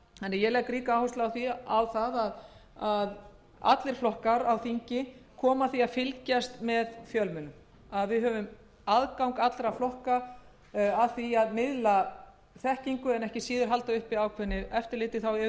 ég legg ríka áherslu á það að allir flokkar á þingi komi að því að fylgjast með fjölmiðlum að við höfum aðgang allra flokka að því að miðla þekkingu en ekki síður að halda uppi eftirliti þá auðvitað í